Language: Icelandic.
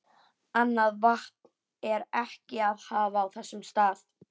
Annað vatn er ekki að hafa á þessum stað.